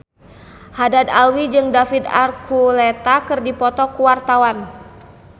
Haddad Alwi jeung David Archuletta keur dipoto ku wartawan